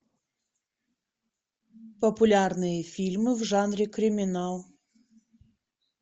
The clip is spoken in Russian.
популярные фильмы в жанре криминал